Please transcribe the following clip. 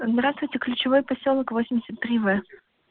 здравствуйте ключевой посёлок восемьдесят три в